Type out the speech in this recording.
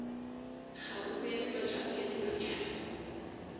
kgaruru ya melotšana ya dinonyane